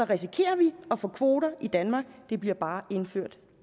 risikerer vi at få kvoter i danmark de bliver bare indført